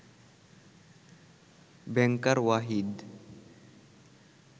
ব্যাংকার Wahid